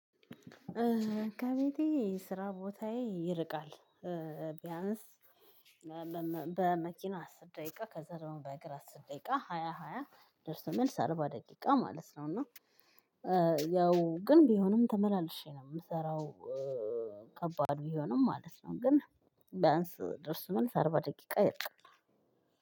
ከቤቴ ስራ ቦታዬ ይርቃል። ቢያንስ መመመ በመኪና አስር ደቂቃ ከዛ ደግሞ በእግር አስር ደቂቃ ሃያ ሃያ ደርሶ መልስ አርባ ደቂቃ ማለት ነው። እና ያው ግን ቢሆንም ተመላልሼ ነው እምሰራው። ከባድ ቢሆንም ማለት ነው ግን ቢያንስ ደርሶ መልስ አርባ ደቂቃ ይርቃል።